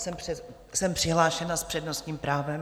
Jsem přihlášena s přednostním právem.